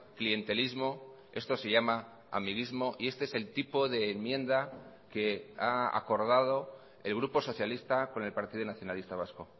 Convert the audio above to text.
clientelismo esto se llama amiguismo y este es el tipo de enmienda que ha acordado el grupo socialista con el partido nacionalista vasco